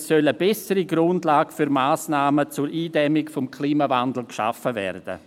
Es soll eine bessere Grundlage für Massnahmen zur Eindämmung des Klimawandels geschaffen werden.